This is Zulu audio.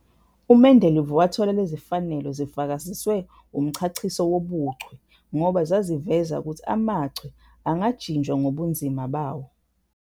UMendeleev wathola lezifanelo zifakaziswe umchachiso wobuchwe ngoba zaziveza ukuthi amachwe angajinjwa ngobunzima bawo.